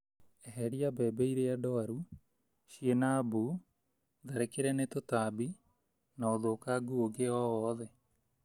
Eheria mbembe iria ndwaru, ciĩna mbuu, tharĩkĩre nĩ tũtambi na ũthũkangu ũngĩ o wothe.